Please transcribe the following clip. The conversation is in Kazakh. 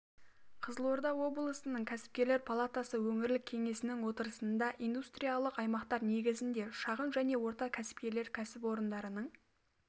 қызылорда облысының кәсіпкерлер палатасы өңірлік кеңесінің отырысында индустриялық аймақтар негізінде шағын және орта кәсіпкерлік кәсіпорындарының